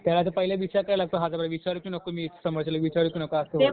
त्याला तर पहिले विचार करायला लागतो हजार वेळा, विचारू की नको मी समोरच्याला विचारू की नको? असं होईल.